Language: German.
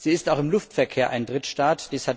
Sie ist auch im Luftverkehr ein Drittstaat.